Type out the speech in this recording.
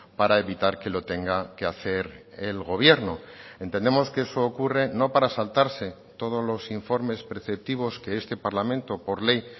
para evitar que lo tenga que hacer el gobierno entendemos que eso ocurre no para saltarse todos los informes preceptivos que este parlamento por ley